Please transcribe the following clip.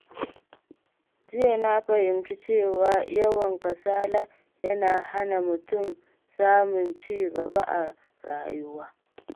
Jiya na fahimci cewa yawan kasala yana hana mutum samun ci gaba a rayuwa.